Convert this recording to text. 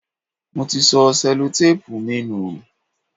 Mo ti sọ Sẹ́lótápùù mi nù.